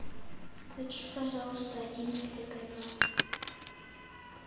включи пожалуйста одиннадцатый канал